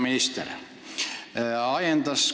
Hea minister!